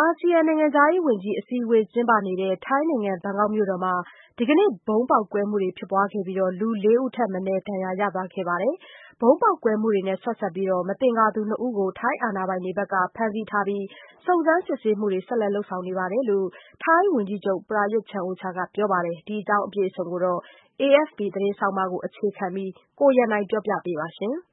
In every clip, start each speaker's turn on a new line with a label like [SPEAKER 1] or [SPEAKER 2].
[SPEAKER 1] အာဆီယံနိုင်ငံခြားရေးဝန်ကြီးအစည်းအဝေးကျင်းပနေတဲ့ ထိုင်းနိုင်ငံဘန်ကောက်မြို့မှာ ဒီကနေ့ ဗုံးပေါက်ကွဲမှုတွေဖြစ်ပွားခဲ့ပြီး လူ ၄ ဦးထက်မနည်း ဒဏ်ရာရသွားခဲ့ပါတယ်။ ဗုံးပေါက်ကွဲမှု နဲ့ ဆက်စပ်ပြီး မသင်္ကာသူ ၂ ဦးကို ထိုင်းအာဏာပိုင်တွေက ဖမ်းဆီးထားပြီး စုံစမ်းစစ်ဆေးမှုတွေကို ဆက်လက်လုပ်ဆောင်နေတယ်လို့ ထိုင်းဝန်ကြီးချုပ် ပရာရွတ်ချန်အိုချာက ပြောပါတယ်။ ဒီအကြောင်းနဲ့ ပတ်သက်ပြီး AFP သတင်းဆောင်းပါးကို အခြေခံပြီး ကိုရန်နိုင်ကပြောပြပေးမှာဖြစ်ပါတယ်
[SPEAKER 2] ။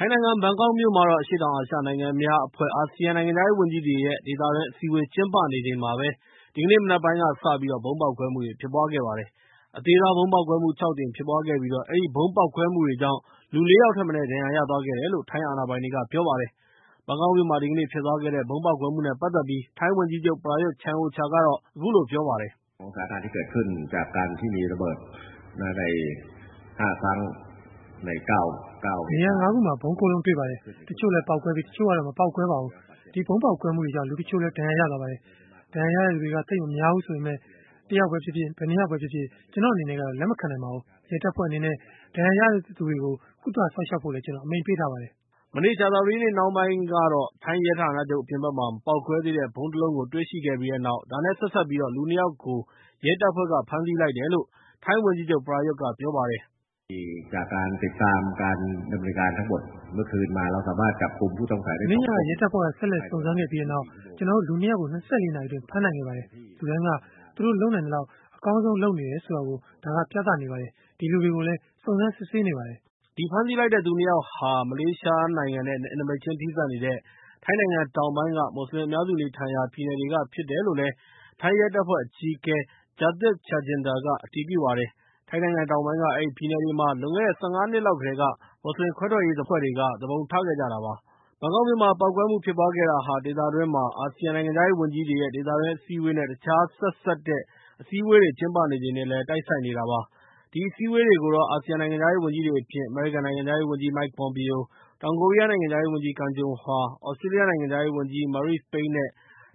[SPEAKER 2] ထိုင်းနိုင်ငံ ဘန်ကောက်မြို့မှာတော့ အရှေ့တောင်အာရှနိုင်ငံများအဖွဲ့ အာဆီယံနိုင်ငံခြားရေးဝန်ကြီးတွေရဲ့ ဒေသတွင်းအစည်းအဝေး ကျင်းပနေချိန်မှာပဲ ဒီကနေ့ မနက်ပိုင်းကစပြီး ဗုံးပေါက်ကွဲမှုတွေဖြစ်ပွားခဲ့ပါတယ်။ အသေးစား ဗုံးပေါက်ကွဲမှု ၆ ကြိမ် ဖြစ်ပွားခဲ့ပြီး၊ အဲဒီ ဗုံးပေါက်ကွဲမှုတွေကြောင့် လူ ၄ ယောက်ထက်မနည်းဒဏ်ရာရသွားခဲ့တယ်လို့ ထိုင်းအာဏာပိုင်တွေက ပြောပါတယ်။ ဘန်ကောက်မြို့မှာ ဒီကနေ့ဖြစ်သွားတဲ့ ဗုံးပေါက်ကွဲမှုတွေနဲ့ ပတ်သက်ပြီး ထိုင်းဝန်ကြိးချုပ် ပရာရွတ်ချန်အိုချာကတော့ အခုလို ပြောပါတယ်။
[SPEAKER 3] “နေရ
[SPEAKER 4] ာ ၅ ခုမှာ ၊ ဗုံး ၉ လုံးတွေ့ပါတယ်။ တချို့လည်း ပေါက်ကွဲခဲ့ပြီး ၊ တချို့လည်း မပေါက်ကွဲခဲ့ပါဘူး။ အဲဒီဗုံးပေါက်ကွဲမှုတွေကြောင့် လူတချို့ဒဏ်ရာရသွားပါတယ်။ ဒဏ်ရာရတဲ့သူတွေက သိပ်မများဘူးဆိုပေမယ့်လည်း ၊ တစ်ယောက်ပဲဖြစ်ဖြစ် ဘယ်နှစ်ယောက်ပဲဖြစ်ဖြစ် ကျနော်အနေနဲ့ လက်မခံနိုင်ပါဘူး။ ရဲတပ်ဖွဲ့အနေနဲ့ ဒဏ်ရာရတဲ့သူတွေကို ကုသစောင့်ရှောက်ဖို့ ကျနော်အမိန့်ပေးထားပါတယ်
[SPEAKER 2] ။” မနေ့ကြာသပတေးနေ့နှောင်းပိုင်းကတော့ ထိုင်းရဲဌာနချုပ်အပြင်ဘက်မှာ မပေါက်ကွဲသေးတဲ့ ဗုံး ၁ လုံးကို တွေ့ရှိခဲ့ပြီးတဲ့နောက် ဒါနဲ့ ဆက်စပ်ပြီး လူ ၂ ယောက်ကို ရဲတပ်ဖွဲ့က ဖမ်းဆီးလိုက်တယ်လို့ ထိုင်းဝန်ကြီးချုပ်က ပရာရွတ်က ပြောပါတယ်။ “
[SPEAKER 3] မနေ့ညက ရဲတ
[SPEAKER 4] ပ်ဖွဲ့က ဆက်လက်စုံစမ်းခဲ့ပြီးတဲ့နောက်၊ ကျနော်တို့ လူ ၂ ယောက်ကို ၂၄ နာရီအတွင်း ဖမ်းဆီးနိုင်ခဲ့ပါတယ်။ လူတိုင်းက သူတို့လုပ်နိုင်သလောက် အကောင်းဆုံးလုပ်ဆောင်နေကြတယ်ဆိုတာကို ဒါကပြနေပြီး၊ အဲဒီလူတွေကိုလည်း စုံစမ်းစစ်ဆေးနေပါတယ်။”
[SPEAKER 2] အဲဒီဖမ်းဆီးလိုက်တဲ့သူ ၂ ယောက်ဟာ မလေးရှားနိုင်ငံနဲ့ နယ်နိမိတ်ချင်းထိစပ်နေတဲ့ ထိုင်းနိုင်ငံ တောင်ပိုင်း မွတ်စလင်အများစုနေထိုင်ရာ ပြည်နယ်တွေဖြစ်တယ်လို့လည်း ထိုင်းရဲတပ်ဖွဲ့အကြီးအကဲ Jakthip Chaijinda က အတည်ပြုပါတယ်။ ထိုင်းနိုင်ငံတောင်ပိုင်းက အဲဒီပြည်နယ်တွေမှာ လွန်ခဲ့တဲ့ ၁၅ နှစ်လောက်ကတည်းက မွတ်စလင်ခွဲထွက်ရေးအဖွဲ့တွေက သူပုန်ထခဲ့ကြတာဖြစ်ပါတယ်။ ဘန်ကောက်မြို့မှာ ပေါက်ကွဲမှုတွေဖြစ်ပွားခဲ့တာဟာ ၊ ဒေသတွင်းမှာ အာဆီယံနိုင်ငံခြားရေးဝန်ကြီးတွေရဲ့ ဒေသတွင်းအစည်းအဝေး နဲ့ တခြားဆက်စပ်တဲ့ အစည်းအဝေးကျင်းပချိန်နဲ့လည်းတိုက်ဆိုင်နေတာဖြစ်ပါတယ်။ ဒီအစည်းအဝေးတွေကို အာဆီယံနိုင်ငံခြားရေးဝန်ကြီးတွေ အပြင် အမေရိကန်နိုင်ငံခြားရေးဝန်ကြီး Mike Pompeo ၊ တောင်ကိုရီးယား နိုင်ငံခြားရေးဝန်ကြီး Kang Kyung-hwa, သြစတြေးလျ နိုင်ငံခြားရေးဝန်ကြီး Marise Payne နဲ့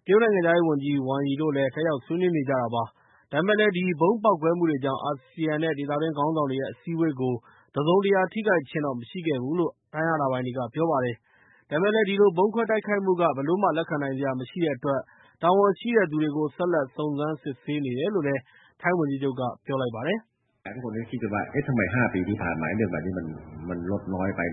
[SPEAKER 2] တရုတ်နိုင်ငံခြားရေးဝန်ကြီး ဝမ်ရီတို့လည်း တက်ရောက်ဆွေးနွေးခဲ့ကြပါတယ်။ ဒါပေမဲ့လည်း ဒီဗုံးကွဲမှုတွေကြောင့်တော့ အာဆီယံနဲ့ ဒေသတွင်းခေါင်းဆောင်တွေရဲ့ အစည်းအဝေးကို တစုံတရာထိခိုက်ခြင်းတော့မရှိခဲ့ဘူးလို့ ထိုင်းအာဏာပိုင်ကပြောပါတယ်။ ဒါပေမဲ့လည်း ဒီလိုဗုံးခွဲတိုက်ခိုက်မှုတွေက ဘယ်လိုမှလက်ခံနိုင်စရာမရှိတဲ့အတွက် တာဝန်ရှိတဲ့သူတွေကို ဆက်လက် စုံစမ်းစစ်ဆေးနေတယ်လို့ ထိုင်းဝန်ကြီးချုပ်က ပြောပါတယ်။
[SPEAKER 3] “လွန်ခဲ့တဲ့ ၅ နှစ်အတွင်းမှာ ဒီလိုမျိုး ဗုံ
[SPEAKER 4] းပေ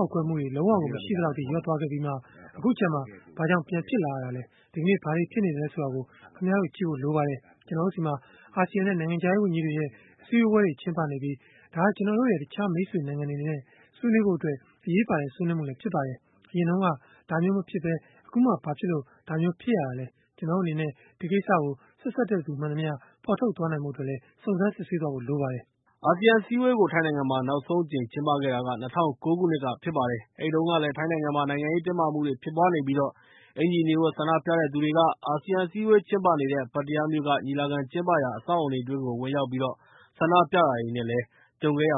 [SPEAKER 4] ါက်ကွဲမှုတွေဟာ လုံးဝကို မရှိသလောက်အထိ လျော့သွားခဲ့ပြီးမှ၊ အခုကျမှ ဘာကြောင့်ဖြစ်လာရတာလဲ။ ဒီကနေ့ ဘာတွေဖြစ်နေသလဲဆိုတာကို ခင်ဗျားတို့ကြည့်ဖို့လိုပါတယ်။ ကျနော်တို့ဆီမှာ အာဆီယံနဲ့ နိုင်ငံခြားရေးဝန်ကြီးတွေရဲ့ အစည်းအဝေကို ကျင်းပနေပြီး၊ ဒါက ကျနော်တို့ရဲ့ တခြားမိတ်ဆွေနိုင်ငံတွေနဲ့ ဆွေးနွေးဖို့အတွက် အရေးပါတဲ့ဆွေးနွေးမှုဖြစ်ပါတယ်။ အရင်တုန်းက ဒါမျိုးမဖြစ်ဘဲ အခုမှ ဘာဖြစ်လို့ဒါမျိုး ဖြစ်တာလဲ။ ကျနော်တို့အနေနဲ့ ဒီကိစ္စဆက်စပ်တဲ့သူမှန်သမျှကိုဖော်ထုတ်နိုင်ဖို့အတွက် စုံစမ်းစစ်ဆေးဖို့လိုပါတယ်။”
[SPEAKER 2] အာဆီယံအစည်းအဝေးကို ထိုင်းနိုင်ငံမှာ နောက်ဆုံးအကြိမ်ကျင်းပခဲ့တာက ၂၀၀၉ ခုနှစ်ကဖြစ်ပါတယ်။ အဲဒီတုန်းကလည်း ထိုင်းနိုင်ငံမှာ နိုင်ငံရေးတင်းမာမှုတွေဖြစ်ပွားနေပြီး အင်္ကျီအနီဝတ် ဆန္ဒပြတဲ့သူတွေက အာဆီယံအစည်းအဝေးကျင်းပနေတဲ့ ပတ္တရားမြို့က ညီလာခံကျင်းပရာ အဆောက်အအုံတွေအတွင်းကို ဝင်ရောက်ပြီး ဆန္ဒပြတာတွေနဲ့ ကြုံခဲ့ရ